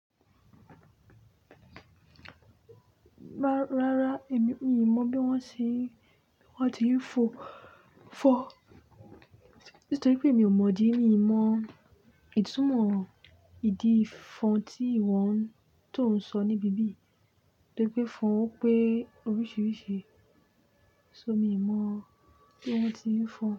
Rárá, èmi, mi ò mọ̀ bí wọ́n ṣe, bí wọ́n ti ń fò, fọ̀ Nítorí pé mi ò mọ̀ idí, mi n mọ ìtúmọ̀ ìdí fọn tí ìwọ ń, tó ń sọ níbí biyìí. Nítorí pé fọn ń pè oríṣiríṣi, so, mi ò mọ̀ bí wọ́n ti ń fọn.